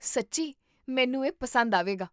ਸੱਚੀਂ? ਮੈਨੂੰ ਇਹ ਪਸੰਦ ਆਵੇਗਾ